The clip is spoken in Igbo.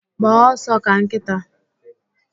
Gbaa ọsọ ka nkịta